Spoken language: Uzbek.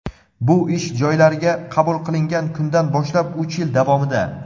bu ish joylariga qabul qilingan kundan boshlab uch yil davomida.